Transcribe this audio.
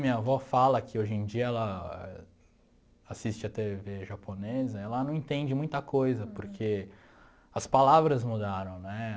Minha avó fala que hoje em dia ela assiste a tê vê japonesa, ela não entende muita coisa, porque as palavras mudaram, né?